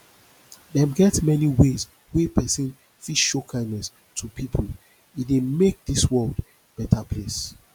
dem get many ways wey persin fit show kindness to pipo e de make make dis world better place